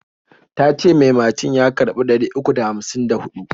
Tace mai macin ya karɓi ɗari uku da hamsin da huɗu.